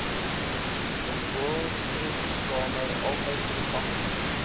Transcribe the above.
rioolgrenskamer altyd toeganklik